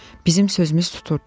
Bizim sözümüz tuturdu.